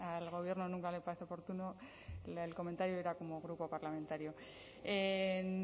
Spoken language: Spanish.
al gobierno nunca le parece oportuno el comentario era como grupo parlamentario en